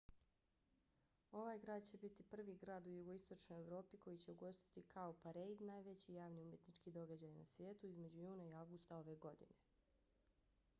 ovaj grad će biti prvi grad u jugoistočnoj evropi koji će ugostiti cowparade najveći javni umjetnički događaj na svijetu između juna i avgusta ove godine